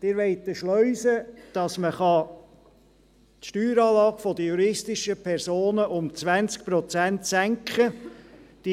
Sie wollen eine Schleuse, damit man die Steueranlage der juristischen Personen um 20 Prozent senken kann.